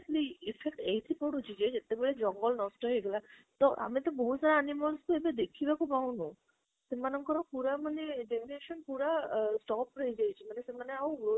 effect ଏଇଠି ପଡୁଛି କି ଜେବ ଜଙ୍ଗଲ ନଷ୍ଟ ହେଇଗଲା, ତା ଏମ ତ ବହୁତ ସାରା animal କୁ ଦେଖିବାକୁ ପାଉନୁ ସେମାନଙ୍କ ପୁରା ମାନେ generation ପୁରା ଅ stop ରେ ହେଇ ଯାଇଛି ମନେ ସେମାନେ ଆଉ growth